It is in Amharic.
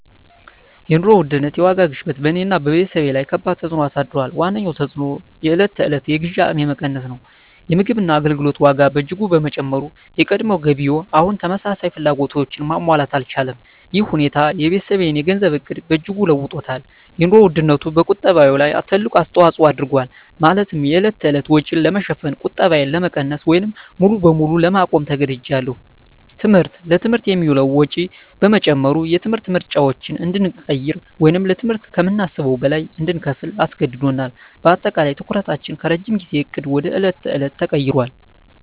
የኑሮ ውድነት (የዋጋ ግሽበት) በእኔና በቤተሰቤ ላይ ከባድ ተፅዕኖ አሳድሯል። ዋነኛው ተፅዕኖ የዕለት ተዕለት የግዢ አቅሜ መቀነስ ነው። የምግብና የአገልግሎት ዋጋ በእጅጉ በመጨመሩ፣ የቀድሞ ገቢዬ አሁን ተመሳሳይ ፍላጎቶችን ማሟላት አልቻለም። ይህ ሁኔታ የቤተሰቤን የገንዘብ ዕቅድ በእጅጉ ለውጦታል - የኑሮ ውድነቱ በቁጠባዬ ላይ ትልቅ አስተዋጽኦ አድርጓል፤ ማለትም የዕለት ተዕለት ወጪን ለመሸፈን ቁጠባዬን ለመቀነስ ወይም ሙሉ በሙሉ ለማቆም ተገድጃለሁ። ትምህርት: ለትምህርት የሚውለው ወጪ በመጨመሩ፣ የትምህርት ምርጫዎችን እንድንቀይር ወይም ለትምህርት ከምናስበው በላይ እንድንከፍል አስገድዶናል። በአጠቃላይ፣ ትኩረታችን ከረጅም ጊዜ ዕቅድ ወደ የዕለት ተዕለት ተቀይሯል።